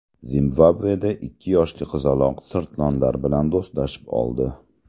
Zimbabveda ikki yoshli qizaloq sirtlonlar bilan do‘stlashib oldi.